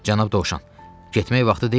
Cənab dovşan, getmək vaxtı deyilmi?